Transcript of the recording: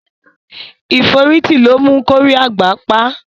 Ìforítī lo mu kórí àgbà pá